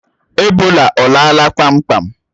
Ebola ọ lala kpamkpam?